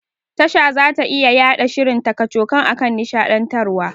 Tasha zata iya yaɗa shirin ta kacokan akan nishaɗantarwa.